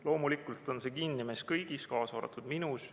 Loomulikult on see kinni meis kõigis, kaasa arvatud minus.